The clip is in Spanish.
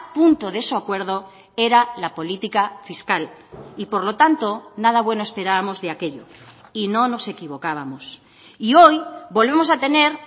punto de su acuerdo era la política fiscal y por lo tanto nada bueno esperábamos de aquello y no nos equivocábamos y hoy volvemos a tener